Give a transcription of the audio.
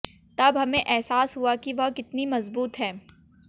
तब हमें एहसास हुआ कि वह कितनी मजबूत हैं